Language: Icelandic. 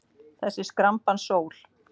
Þessi skrambans sól.